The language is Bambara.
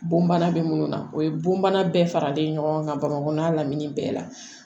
Bon bana bɛ minnu na o ye bonbana bɛɛ faralen ɲɔgɔn kan bamakɔ lamini bɛɛ la